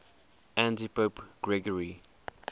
antipope gregory